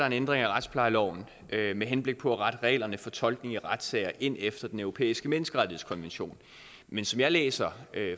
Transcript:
en ændring af retsplejeloven med henblik på at rette reglerne for tolkning af retssager ind efter den europæiske menneskerettighedskonvention men som jeg læser